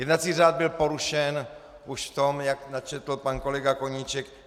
Jednací řád byl porušen už v tom, jak načetl pan kolega Koníček.